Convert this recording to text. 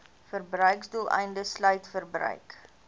verbruiksdoeleindes sluit verbruik